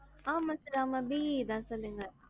ஆமா sir, ஆமா BE தான் சொல்லுங்க.